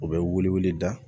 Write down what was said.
U bɛ wili da